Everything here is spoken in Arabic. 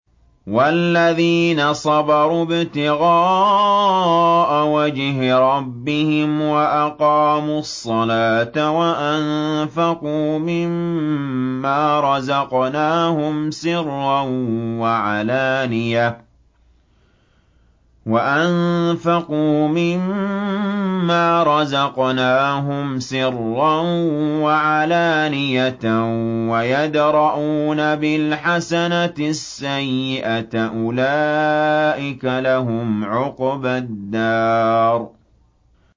وَالَّذِينَ صَبَرُوا ابْتِغَاءَ وَجْهِ رَبِّهِمْ وَأَقَامُوا الصَّلَاةَ وَأَنفَقُوا مِمَّا رَزَقْنَاهُمْ سِرًّا وَعَلَانِيَةً وَيَدْرَءُونَ بِالْحَسَنَةِ السَّيِّئَةَ أُولَٰئِكَ لَهُمْ عُقْبَى الدَّارِ